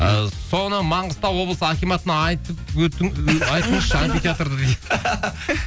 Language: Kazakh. ыыы соны маңғыстау облысы акиматына айтып өттің айтыңызшы амфитеатрды дейді